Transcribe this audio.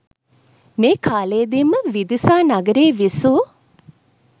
මේ කාලයේදී ම විදිසා නගරයේ විසූ